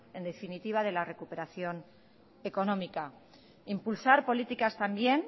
en definitiva de la recuperación económica impulsar políticas también